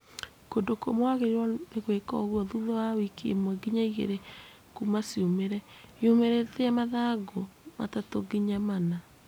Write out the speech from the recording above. kũndũ kũũmũ wagĩrĩirwo nĩgwĩka ũguo thutha wa wiki1-2 kuuma ciumĩre( yumĩrĩtie mathangũ 3-4)